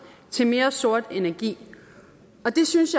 til mere sort energi det synes